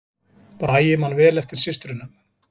Bragi man vel eftir systrunum